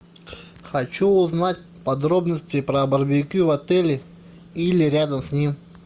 хочу узнать подробности про барбекю в отеле или рядом с ним